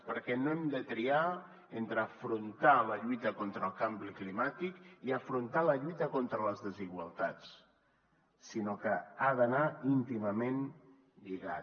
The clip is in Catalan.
perquè no hem de triar entre afrontar la lluita contra el canvi climàtic i afrontar la lluita contra les desigualtats sinó que ha d’anar íntimament lligat